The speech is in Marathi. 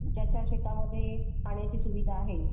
ज्याच्या शेतामध्ये पाण्याची सुविधा आहे.